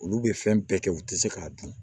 Olu bɛ fɛn bɛɛ kɛ u tɛ se k'a dun